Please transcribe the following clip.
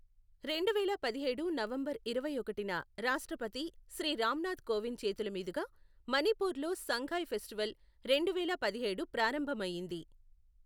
రెండువేల పదిహేడు నవంబర్ ఇరవై ఒకటిన రాష్ట్రపతి శ్రీ రామ్ నాథ్ కోవింద్ చేతుల మీదుగా మణిపూర్ లో సంగాయ్ ఫెస్టివల్ రెండువేల పదిహేడు ప్రారంభమయ్యింది.